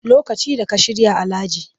Lokacin da ka shirya Alhaji